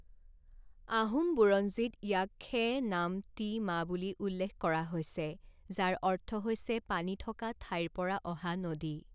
আহোম বুৰঞ্জীত ইয়াক খে নাম তি মা বুলি উল্লেখ কৰা হৈছে যাৰ অৰ্থ হৈছে পানী থকা ঠাইৰ পৰা অহা নদী।